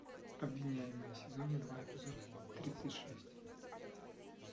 обвиняемые сезон два эпизод тридцать шесть